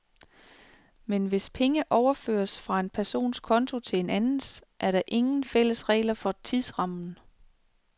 Men hvis penge overføres fra en persons konto til en andens, er der ingen fælles regler for tidsrammen.